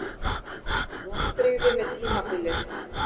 Vonbrigði með tímabilið